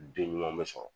Den ɲuman bɛ sɔrɔ